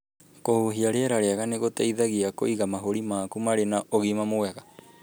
Kũhuhia rĩera rĩega nĩ gũteithagia kũiga mahũri maku marĩ na ũgima mwega.